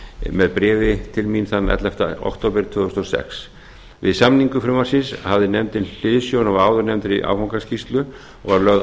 með bréfi til mín þann ellefta október tvö þúsund og sex við samningu frumvarpsins hafði nefndin hliðsjón af áðurnefndri áfangaskýrslu og var lögð